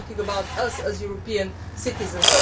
myself I am talking about us as European citizens.